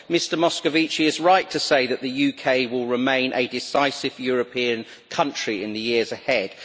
Mr Moscovici is right to say that the UK will remain a decisive European country in the years ahead.